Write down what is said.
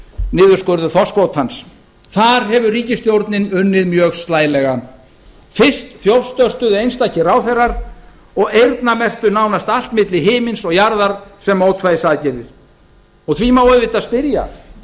niðurskurður þorskkvótans þar hefur ríkisstjórnin unnið ákaflega slælega fyrst þjófstörtuðu einstakir ráðherrar og eyrnamerktu nánast allt milli himins og jarðar sem mótvægisaðgerðir því má auðvitað spyrja